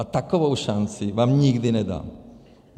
A takovou šanci vám nikdy nedám.